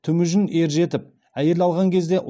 темужін ержетіп әйел алған кезде